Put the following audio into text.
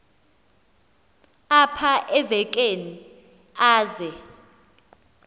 apha evekini aze